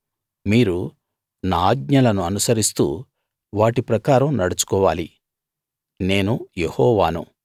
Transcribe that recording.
మీరు నా ఆజ్ఞలను అనుసరిస్తూ వాటి ప్రకారం నడుచుకోవాలి నేను యెహోవాను